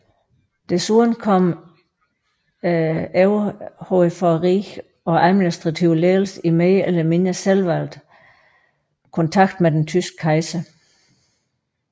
Desuden kom rigets overhoved og administrative ledelse i mere eller mindre selvvalgt kontakt med den tyske kejser